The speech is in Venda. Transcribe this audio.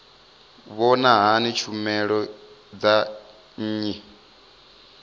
vhona hani tshumelo dza nnyi